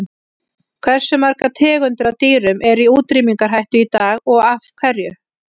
Hversu margar tegundir af dýrum eru í útrýmingarhættu í dag og af hverju?